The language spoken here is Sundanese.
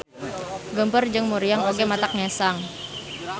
Geumpeur jeung muriang oge matak ngesang.